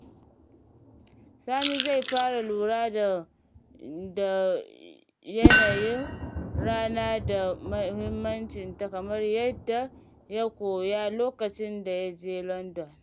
Sani zai fara lura da yanayin rana da mahimmancinta kamar yadda ya koya lokacin da ya je London.